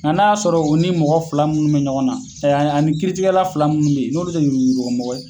Nka n'a y'a sɔrɔ o ni mɔgɔ fila munnu bɛ ɲɔgɔn na, ani kiiritigɛla fila munnu bɛ yen, n'olu te yurugu yurugumɔgɔ ye